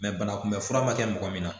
banakunbɛ fura ma kɛ mɔgɔ min na